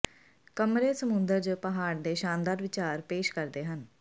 ਕਮਰੇ ਸਮੁੰਦਰ ਜ ਪਹਾੜ ਦੇ ਸ਼ਾਨਦਾਰ ਵਿਚਾਰ ਪੇਸ਼ ਕਰਦੇ ਹਨ